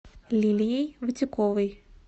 лилией вотяковой